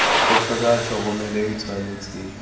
go tlhokega tlhokomelo e tshwanetse